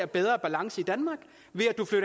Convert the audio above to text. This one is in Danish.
bedre balance i danmark